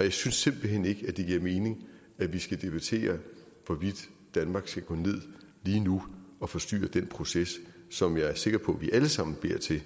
jeg synes simpelt hen ikke det giver mening at vi skal debattere hvorvidt danmark skal gå ned lige nu og forstyrre den proces som jeg er sikker på vi alle sammen beder til